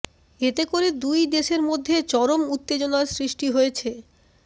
এতে করে দুই দেশের মধ্যে চরম উত্তেজনার সৃষ্টি হয়েছে